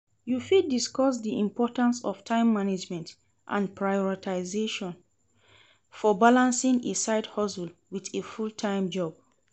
You fit discuss di importance of time management and prioritization for balancing a side-hustle with a full-time job.